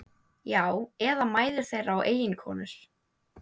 Já, eða mæður þeirra og eiginkonur.